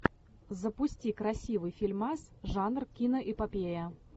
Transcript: запусти красивый фильмас жанр киноэпопея